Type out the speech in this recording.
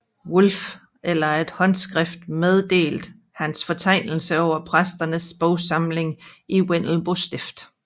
Wulff efter et håndskrift meddelt hans fortegnelse over præsternes bogsamlinger i Vendelbo stift